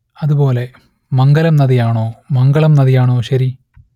അതുപോലെ മംഗലം നദി ആണോ മംഗളം നദി ആണോ ശരി